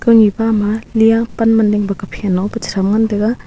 ko nyi bama lay pan man ding kuphain long cham ngan taga.